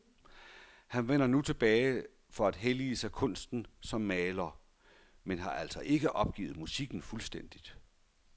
Han vender nu tilbage for at hellige sig kunsten som maler, men har altså ikke opgivet musikken fuldstændigt.